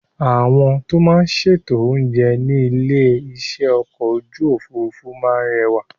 Àwọn tó máa ń ṣètò oúnjẹ ní ilé-iṣẹ́ ọkọ̀ ojú òfuurufú máa ń rẹwà.